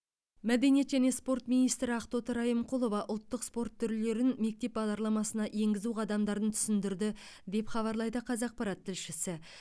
мәдениет және спорт министрі ақтоты райымқұлова ұлттық спорт түрлерін мектеп бағдарламасына енгізу қадамдарын түсіндірді деп хабарлайды қазақпарат тілшісі